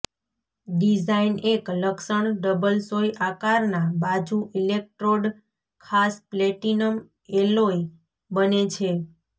design એક લક્ષણ double સોય આકારના બાજુ ઇલેક્ટ્રોડ ખાસ પ્લેટિનમ એલોય બને છે